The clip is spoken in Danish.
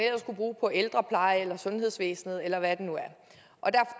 kunne bruge på ældreplejen eller sundhedsvæsenet eller hvad det nu er